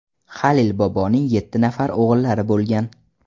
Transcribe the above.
Halil boboning yetti nafar o‘g‘illari bo‘lgan.